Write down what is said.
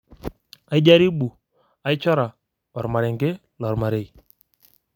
aijaribu, aichora, ormarenke lormarei.